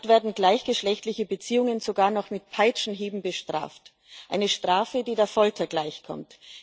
Dort werden gleichgeschlechtliche Beziehungen sogar noch mit Peitschenhieben bestraft eine Strafe, die der Folter gleichkommt.